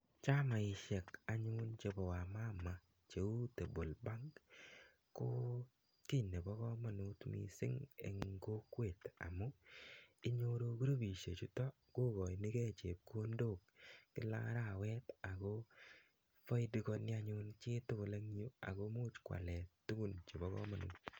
chamaishiek anyun che bo wamama che u table bank ko ki ne bo kamanut missing eng kokwet amu inyoru krupishiek chuto ko kochochunkei chepkondok kila arawa ako faidikani ak ko much ko ale tukun che bo kamanut